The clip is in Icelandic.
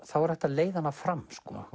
er hægt að leiða hana fram